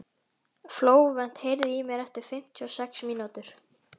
Flóvent, heyrðu í mér eftir fimmtíu og sex mínútur.